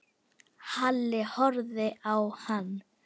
Halli horfði á hann.